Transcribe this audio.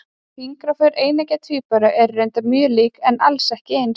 Fingraför eineggja tvíbura eru reyndar mjög lík, en alls ekki eins.